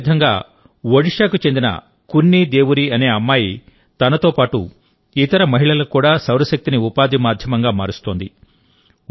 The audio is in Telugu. అదే విధంగా ఒడిషాకు చెందిన కున్ని దేవురి అనే అమ్మాయి తనతో పాటు ఇతర మహిళలకు కూడా సౌరశక్తిని ఉపాధి మాధ్యమంగా మారుస్తోంది